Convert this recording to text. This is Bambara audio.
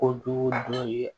Kojugu dɔ ye